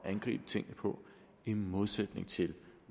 angribe tingene på i modsætning til